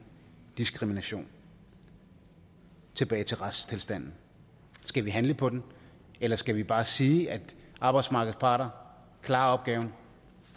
diskrimination tilbage til retstilstanden skal vi handle på den eller skal vi bare sige at arbejdsmarkedets parter klarer opgaven